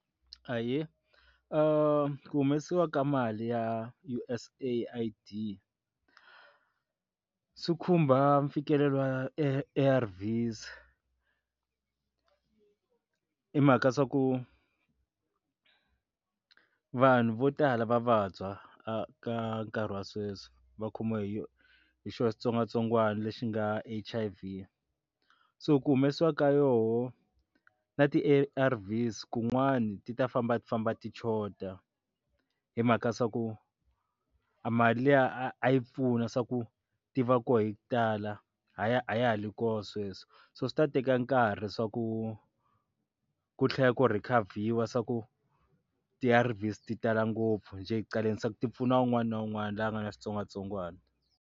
Ahee, ku humesiwa ka mali ya U_S AID swi khumba mfikelelo wa A_R_Vs i mhaka swa ku vanhu vo tala va vabya ka ka nkarhi wa sweswi va khomiwa hi hi xona xitsongwatsongwana lexi nga H_I_V so ku humesiwa ka yoho na ti-A_R_Vs kun'wani ti ta famba a ti famba tichoda hi mhaka swa ku a mali liya a yi pfuna swa ku tiva ko hi ku tala e a ya a ya ha ri koho sweswo so swi ta teka nkarhi swa ku ku tlhela ku rekhavhiwa swa ku ti A_R_Vs ti tala ngopfu ni ti-challenges ku ti pfuna un'wana na un'wana loyi a nga na switsongwatsongwana.